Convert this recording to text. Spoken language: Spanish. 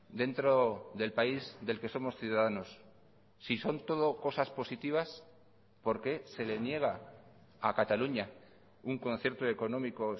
dentro del país del que somos ciudadanos si son todo cosas positivas por qué se le niega a cataluña un concierto económico